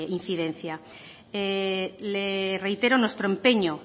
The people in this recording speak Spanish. incidencia le reitero nuestro empeño